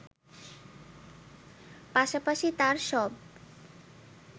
পাশাপাশি তার সব